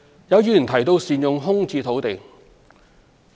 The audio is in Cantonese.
有議員提到善用空置土地。